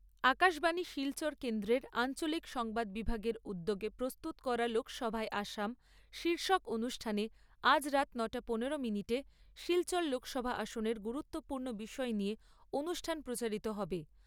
আকাশবাণী শিলচর কেন্দ্রের আঞ্চলিক সংবাদ বিভাগের উদ্যোগে প্রস্তুত করা লোকসভায় আসাম শীর্ষক অনুষ্ঠানে আজ রাত নটা পনেরো মিনিটে শিলচর লোকসভা আসনের গুরুত্বপূর্ণ বিষয় নিয়ে অনুষ্ঠান প্রচারিত হবে।